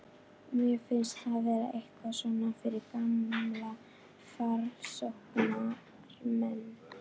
Mér finnst það vera eitthvað svona fyrir gamla framsóknarmenn.